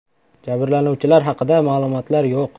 Jabrlanuvchilar haqida ma’lumotlar yo‘q.